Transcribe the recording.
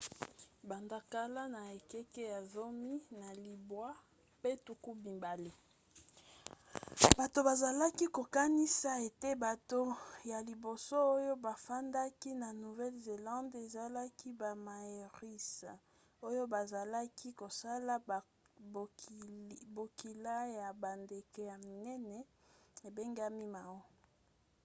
banda kala na ekeke ya zomi na libwa mpe tuku mibale bato bazalaki kokanisa ete bato ya liboso oyo bafandaki na nouvelle-zélande ezalaki bamaoris oyo bazalaki kosala bokila ya bandeke ya minene ebengami moas